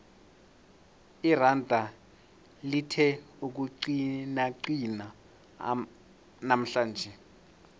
iranda lithe ukuqinaqina namhlanje